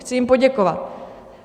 Chci jim poděkovat.